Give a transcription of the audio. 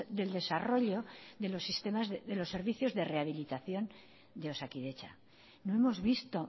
del desarrollo de los servicios de rehabilitación de osakidetza no hemos visto